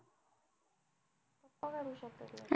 मग काढू शकतात.